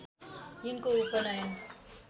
यिनको उपनयन